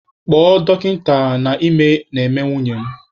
Kpọọ dọkịta na ime na-eme nwunye m!